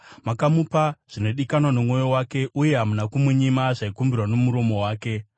Makamupa zvinodikanwa nomwoyo wake, uye hamuna kumunyima zvaikumbirwa nomuromo wake. Sera